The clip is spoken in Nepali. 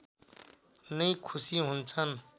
नै खुसि हुन्छन्